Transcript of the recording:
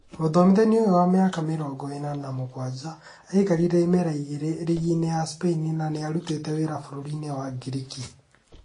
Mũthomithania ũyũ wa mĩaka mĩrongo ĩna na mũgwanja, aikarire imera igĩrĩ rigi-inĩ ya Spain na nĩarutĩte wira bũrũri-inĩ wa Ngiriki